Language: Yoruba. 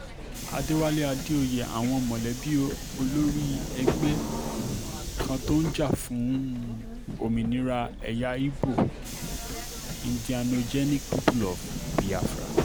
àdéwálé àdèoyè àwọn mọ̀lẹ́bí olórí ẹgbẹ́ um kan tó ń jà fún um òmìnira ẹ̀yà ibo indianogenic people of biafra